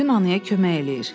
Aygün anaya kömək eləyir.